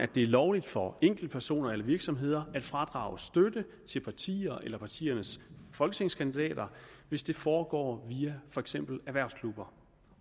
det er lovligt for enkeltpersoner eller virksomheder at fradrage støtte til partier eller partiernes folketingskandidater hvis det foregår via for eksempel erhvervsklubber